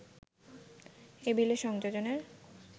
এই বিলে সংযোজনের